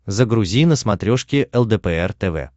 загрузи на смотрешке лдпр тв